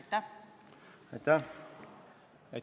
Aitäh!